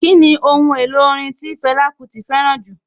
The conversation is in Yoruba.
Kíni Ohun èlò orin tí Fẹlá Kúti fẹ́ràn jù?